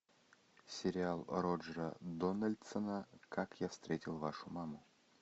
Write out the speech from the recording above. сериал роджера дональдсона как я встретил вашу маму